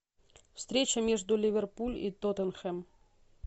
встреча между ливерпуль и тоттенхэм